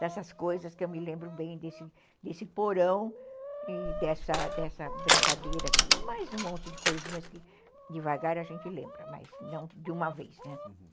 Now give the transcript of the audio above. Dessas coisas que eu me lembro bem desse porão e dessa brincadeira, e mais um monte de coisinhas que devagar a gente lembra, mas não de uma vez, né?